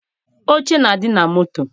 Oche na-adị na moto.